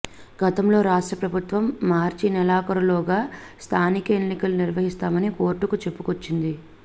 గతంలోనే రాష్ట్ర ప్రభుత్వం మార్చి నెలాఖరులోగా స్థానిక ఎన్నికలు నిర్వహిస్తామని కోర్టుకు చెప్పుకొచ్చింది